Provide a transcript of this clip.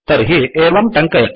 तर्हि एवं टङ्कयतु